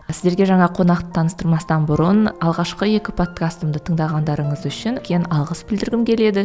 сіздерге жаңа қонақты таныстырмастан бұрын алғашқы екі подкастымды тыңдағандарыңыз үшін үлкен алғыс білдіргім келеді